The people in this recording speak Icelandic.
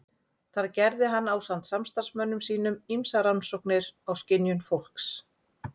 Þar gerði hann ásamt samstarfsmönnum sínum ýmsar rannsóknir á skynjun fólks.